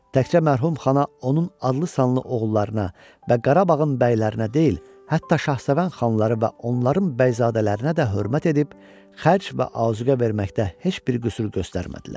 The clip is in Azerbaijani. Təkcə mərhum Xana, onun adlı-sanlı oğullarına və Qarabağın bəylərinə deyil, hətta Şahsevən xanları və onların bəyzadələrinə də hörmət edib, xərc və azuqə verməkdə heç bir qüsur göstərmədilər.